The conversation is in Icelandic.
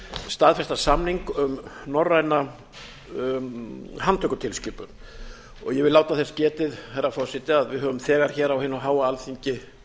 staðfesta samning um norræna handtökutilskipun ég vil láta þess getið herra forseti að við höfum þegar hér á hinu háa alþingi